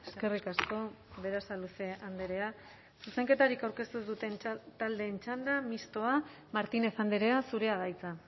eskerrik asko berasaluze andrea zuzenketarik aurkeztu ez duten taldeen txanda mistoa martinez andrea zurea da hitza